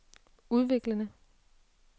udviklede